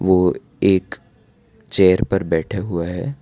वो एक चेयर पर बैठा हुआ है।